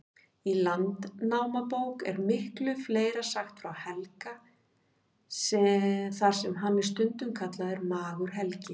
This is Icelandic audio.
Í Landnámabók er miklu fleira sagt frá Helga, þar sem hann er stundum kallaður Magur-Helgi.